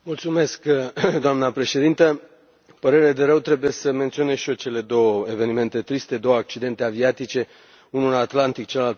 Doamnă președinte, cu părere de rău, trebuie să menționez și eu cele două evenimente triste, două accidente aviatice, unul în Atlantic, celălalt în Pacific.